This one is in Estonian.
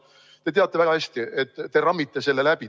Te teate väga hästi, et te rammite selle läbi.